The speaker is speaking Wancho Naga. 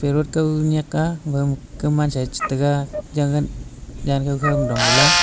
inaudible nyaka ga pha kau man sa ye che tega jagan jantho kho ma dong le la.